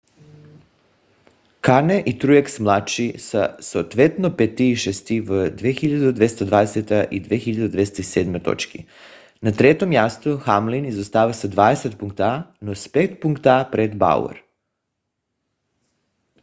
кане и труекс младши са съответно пети и шести с 2220 и 2207 точки. на трето място хамлин изостава с 20 пункта но с 5 пункта пред бауър